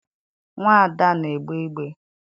Nnwa Ada na-egbe igbe.